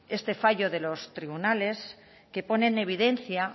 este fallo de los tribunales que pone en evidencia